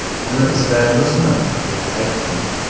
Uni izlaymizmi?” deb ayting.